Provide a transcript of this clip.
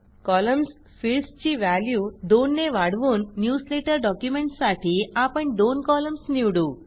columns फिल्डसची value दोन ने वाढवून न्यूजलेटर डॉक्युमेंटसाठी आपण दोन कॉलम्स निवडू